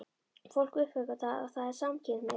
Fólk uppgötvar að það er samkynhneigt.